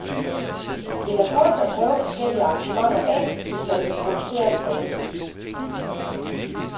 Det er hurtigt at prøve forskellige arrangementer af, hvis man vil producere en plade.